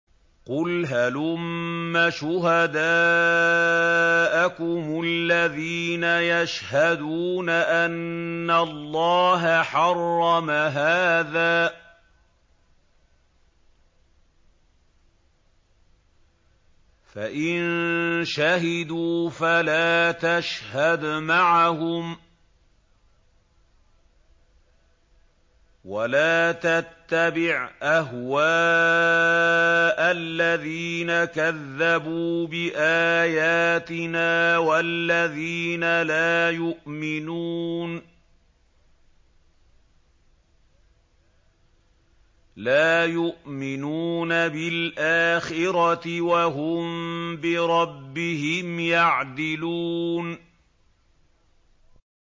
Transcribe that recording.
قُلْ هَلُمَّ شُهَدَاءَكُمُ الَّذِينَ يَشْهَدُونَ أَنَّ اللَّهَ حَرَّمَ هَٰذَا ۖ فَإِن شَهِدُوا فَلَا تَشْهَدْ مَعَهُمْ ۚ وَلَا تَتَّبِعْ أَهْوَاءَ الَّذِينَ كَذَّبُوا بِآيَاتِنَا وَالَّذِينَ لَا يُؤْمِنُونَ بِالْآخِرَةِ وَهُم بِرَبِّهِمْ يَعْدِلُونَ